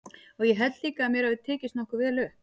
Og ég held líka að mér hafi tekist nokkuð vel upp.